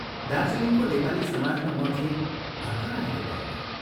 दार्जीलिङको नेपाली समाजमा म थिएँ भर्खर आएको पाहुना।